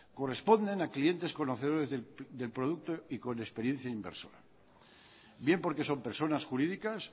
corresponden a clientes conocedores del producto y con experiencia inversora bien porque son personas jurídicas